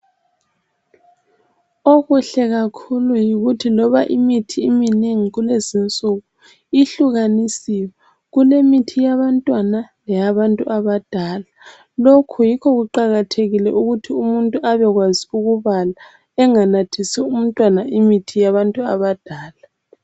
Okuhle kakhulu yikuthi loba imithi iminengi kulezinsuku ihlukanisiwe, kulemithi yabantwana leyabantu abadala. Lokhu yikho kuqakathekile ukuthi umuntu abekwazi ukubala, enganathisi umntwana imithi yabantu abadala.